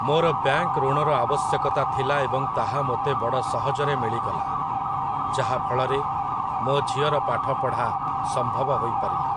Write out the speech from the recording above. ମୋର ବ୍ୟାଙ୍କ୍ ଋଣର ଆବଶ୍ୟକତା ଥିଲା ଏବଂ ତାହା ମୋତେ ବଡ଼ ସହଜରେ ମିଳିଗଲା । ଯାହାଫଳରେ, ମୋ ଝିଅର ପାଠପଢ଼ା ସମ୍ଭବ ହୋଇପାରିଲା ।